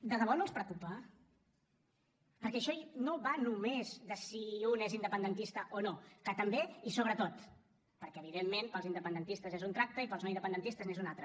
de debò no els preocupa perquè això no va només de si un és independentista o no que també i sobretot perquè evidentment per als independentistes és un tracte i per als no independentistes n’és un altre